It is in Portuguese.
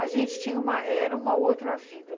A gente tinha uma... era uma outra vida.